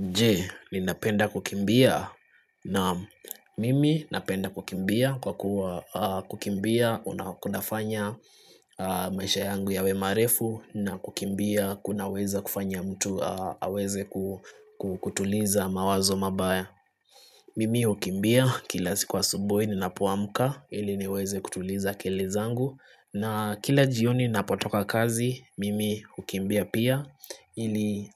Je, ni napenda kukimbia na mimi napenda kukimbia kuwa kukimbia unakunafanya maisha yangu yawemarefu na kukimbia kuna weza kufanya mtu aweze kutuliza mawazo mabaya. Mimi hukimbia kila siku asubuhi ni napoamuka ili niweze kutuliza kele zangu na kila jioni napotoka kazi mimi hukimbia pia ili